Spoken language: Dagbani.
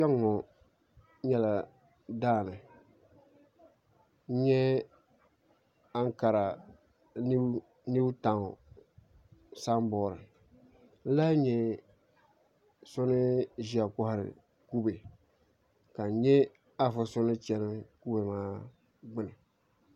Kpɛŋŋo nyɛla daani n nyɛ ankara niw taawn sanbood n lahi nyɛ so ni ʒiya kohari kubɛ ka n nyɛ afa so ni chɛni kubɛ maa gbuni